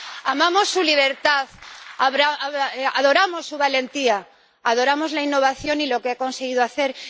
Amamos su libertad, adoramos su valentía, adoramos la innovación y lo que ha conseguido hacer.